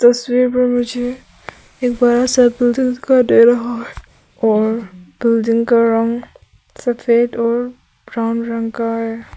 तस्वीर पर मुझे एक बड़ा सा बिल्डिंग दिखाई दे रहा है और बिल्डिंग का रंग सफेद और ब्राउन रंग का है।